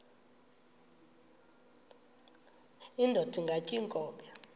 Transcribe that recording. indod ingaty iinkobe